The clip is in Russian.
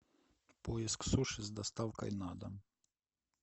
поиск суши с доставкой на дом